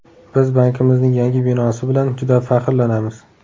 Biz bankimizning yangi binosi bilan juda faxrlanamiz.